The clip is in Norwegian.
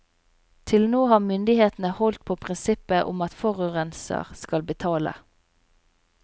Til nå har myndighetene holdt på prinsippet om at forurenser skal betale.